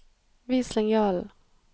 Vis linjalen